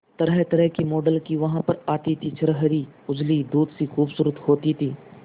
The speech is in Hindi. तरहतरह की मॉडल वहां पर आती थी छरहरी उजली दूध सी खूबसूरत होती थी